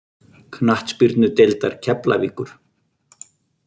Knattspyrnudeildar Keflavíkur